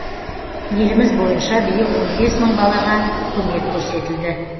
еліміз бойынша биыл он бес мың балаға көмек көрсетілді